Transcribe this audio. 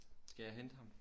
Skal jeg hente ham